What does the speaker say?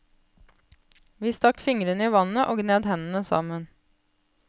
Vi stakk fingrene i vannet og gned hendene sammen.